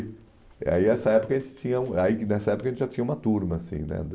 eh aí essa época a gente tinha um... E aí que nessa época, a gente já tinha uma turma, assim, né?